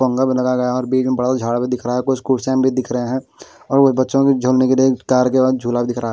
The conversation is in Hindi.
भी लगाया गया और बीच में पड़ा झाड़ भी दिख रहा कुछ कुर्सियां भी दिख रहे हैं और वो बच्चों के झूलने के लिए कार के बाद झूला दिख रहा --